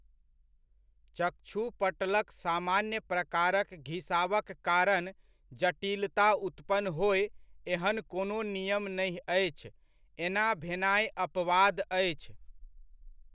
चक्षुपटलक सामान्य प्रकारक घिसावक कारण जटिलता उत्पन्न होय एहन कोनो नियम नहि अछि, एना भेनाइ अपवाद अछि।